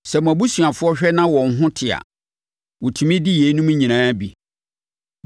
Sɛ mo abusuafoɔ hwɛ na wɔn ho te a, wɔtumi di yeinom nyinaa bi.